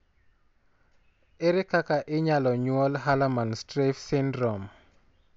Ere kaka inyalo nyuol Hallermann Streiff syndrome?